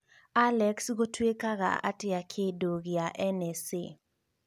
Alex gũtuĩkaga atĩa kĩndũ gĩa n. s. a.